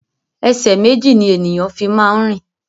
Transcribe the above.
Ẹsẹ̀ méjì ni ènìyàn fi máa ń rìn